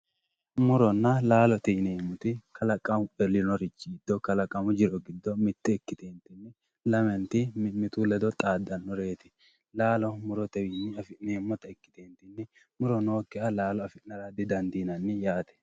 Muronna laalote yineemmoti kalaqamu elinorichi giddo kalaqamu jiro giddo mite ikkitetinni lamenti mimmitu ledo xaadanoreti laalo murotewinni afi'neemmotta ikkite muro nookkiha laalo afira didandiinanni yaate.